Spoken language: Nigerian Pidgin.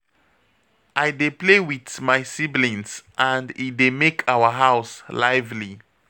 I dey play wit my siblings and e dey make our house lively.